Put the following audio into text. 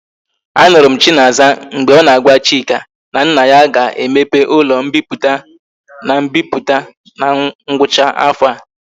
A nuru m chinaza mgbe o na agwa chika na nna ya ga emepe ulo mpiputa na mbiputa na ngwacha afo a